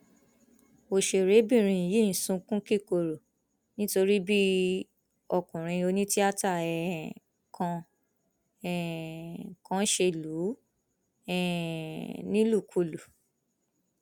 ọṣèrébìnrin yìí sunkún kíkorò nítorí bí ọkùnrin onítìátà um kan um kan ṣe lù ú um nílùkulù